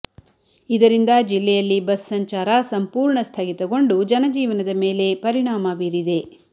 ಇದರಿಂದ ಜಿಲ್ಲೆಯಲ್ಲಿ ಬಸ್ ಸಂಚಾರ ಸಂಪೂರ್ಣ ಸ್ಥಗಿತಗೊಂಡು ಜನಜೀವನದ ಮೇಲೆ ಪರಿಣಾಮ ಬೀರಿದೆ